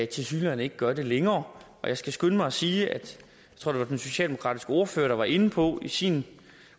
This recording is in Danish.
tilsyneladende ikke gør det længere jeg skal skynde mig at sige at den socialdemokratiske ordfører var inde på i sin